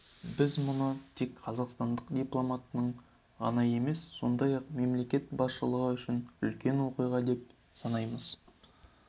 біз мұны тек қазақстандық дипломатының ғана емес сондай-ақ мемлекет басшылығы үшін үлкен оқиға деп санаймыз